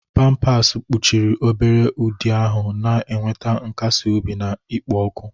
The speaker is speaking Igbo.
Pampasi kpuchiri obere ụdị ahụ, na-enweta nkasi obi na ikpo ọkụ.